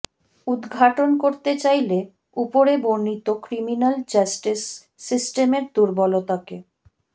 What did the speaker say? উদঘাটন করতে চাইলে ওপরে বর্ণিত ক্রিমিন্যাল জাস্টিস সিস্টেমের দুর্বলতাকে